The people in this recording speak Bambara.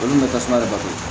Olu kun bɛ tasuma de bato